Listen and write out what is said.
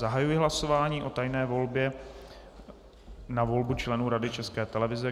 Zahajuji hlasování o tajné volbě na volbu členů Rady České televize.